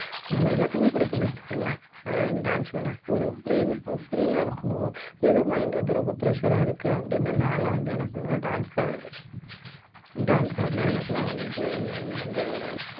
நம்ம எல்லாத்துக்குமே புடிக்கும்னு வெச்சுக்கோங்களேன் அஹ் dance show னா ஒரு free இப்ப free ஆ இருக்கணும் ஏதோ mind வந்து ரொம்ப pressure ஆ இருக்கு அப்படின்னு நான்லாம் வந்து என்ன பண்ணுவேன்னா dance தான் ஆடுவேன் dance ஆடுனா எனக்கெல்லாம் வந்து அந்த